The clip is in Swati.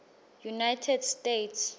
united states